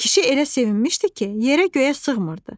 Kişi elə sevinmişdi ki, yerə-göyə sığmırdı.